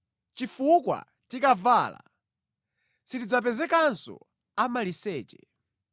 chifukwa tikavala, sitidzapezekanso amaliseche.